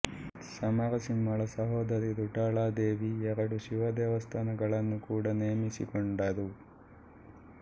ಸಮರಸಿಂಹಳ ಸಹೋದರಿ ರುಡಾಲಾದೇವಿ ಎರಡು ಶಿವ ದೇವಸ್ಥಾನಗಳನ್ನು ಕೂಡಾ ನೇಮಿಸಿಕೊಂಡರು